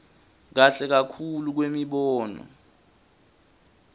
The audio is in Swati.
kahle kakhulu kwemibono